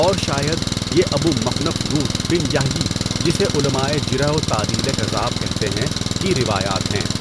اور شاید یہ Abu Mikhnaf Lut bin Yahya جسے علماءِ جرح و تعدیل کذاب کہتے ہیں، کی روایات ہیں۔